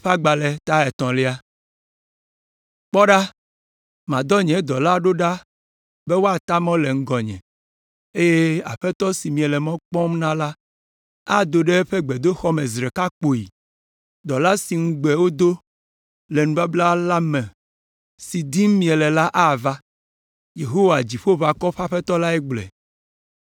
“Kpɔ ɖa, madɔ nye dɔla ɖo ɖa be wòata mɔ le ŋgɔnye eye Aƒetɔ si miele mɔ kpɔm na la ado ɖe eƒe gbedoxɔ me zi ɖeka kpoyi. Dɔla si ŋugbe wodo le nubabla la me, si dim miele la ava.” Yehowa, Dziƒoʋakɔwo ƒe Aƒetɔ lae gblɔe.